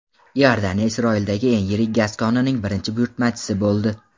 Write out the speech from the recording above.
Iordaniya Isroildagi eng yirik gaz konining birinchi buyurtmachisi bo‘ldi.